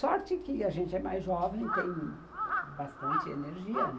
Sorte que a gente é mais jovem e tem bastante energia, né?